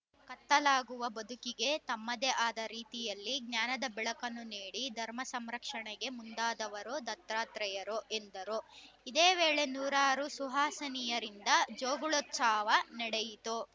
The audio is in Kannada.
ಕತ್ತಲಾಗುವ ಬದುಕಿಗೆ ತಮ್ಮದೆ ಆದ ರೀತಿಯಲ್ಲಿ ಜ್ಞಾನದ ಬೆಳಕನ್ನು ನೀಡಿ ಧರ್ಮ ಸಂರಕ್ಷಣೆಗೆ ಮುಂದಾದವರು ದತ್ತಾತ್ರೇಯರು ಎಂದರು ಇದೇ ವೇಳೆ ನೂರಾರು ಸುಹಾಸಿನಿಯರಿಂದ ಜೋಗಳೋತ್ಸವ ನಡೆಯಿತು